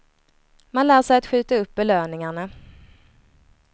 Man lär sig att skjuta upp belöningarna.